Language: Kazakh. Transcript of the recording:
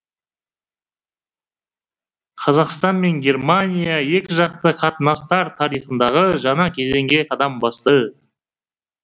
қазақстан мен германия екіжақты қатынастар тарихындағы жаңа кезеңге қадам басты